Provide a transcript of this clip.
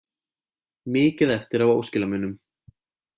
Mikið eftir af óskilamunum